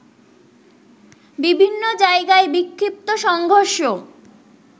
বিভিন্ন জায়গায় বিক্ষিপ্ত সংঘর্ষ